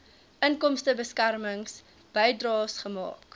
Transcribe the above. inkomstebeskermings bydraes gemaak